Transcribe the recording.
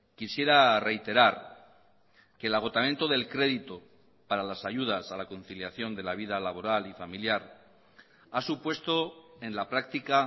quisiera reiterar que el agotamiento del crédito para las ayudas a la conciliación de la vida laboral y familiar ha supuesto en la práctica